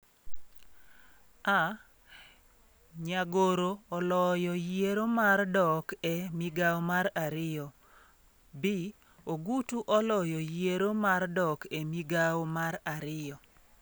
(A)Nyagoro oloyo yiero mar dok e migawo mar ariyo (B) Ogutu oloyo yiero mar dok e migawo mar ariyo.